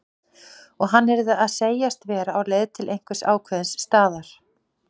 Og hann yrði að segjast vera á leið til einhvers ákveðins staðar.